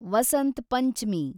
Vasant Panchami